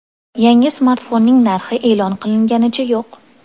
Yangi smartfonning narxi e’lon qilinganicha yo‘q.